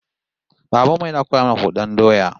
Baban mu yana koya mana hudan doya